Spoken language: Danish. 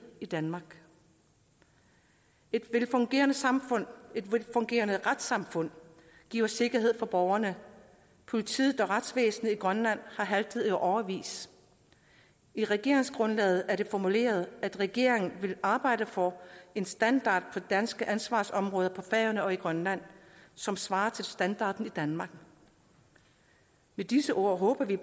i danmark et et velfungerende retssamfund giver sikkerhed for borgerne politiet og retsvæsenet i grønland har haltet bagefter i årevis i regeringsgrundlaget er det formuleret at regeringen vil arbejde for en standard for danske ansvarsområder på færøerne og i grønland som svarer til standarden i danmark med disse ord håber vi